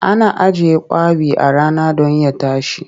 Ana ajiye kwaɓi a rana don ya tashi.